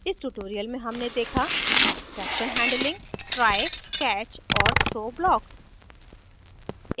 इस tutorial में हमने देखा exception handling try catch और throw blocks